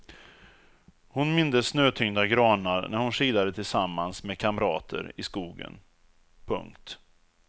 Hon mindes snötyngda granar när hon skidade tillsammans med kamrater i skogen. punkt